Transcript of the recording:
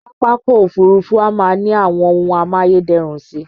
Pápákọ̀ Òfurufú á máa ní àwọn ohun amáyé dẹrùn si